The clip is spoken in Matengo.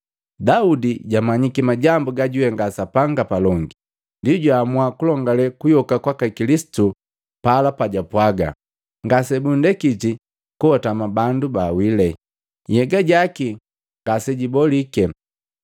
Daudi jagamanyiki majambu gajwihenga Sapanga palongi ndi jwaamua kulongale kuyoka kwaka Kilisitu pala pajapwaga, ‘Ngase bundekiti koatama bandu baawile, nhyega jaki ngase jabolike.’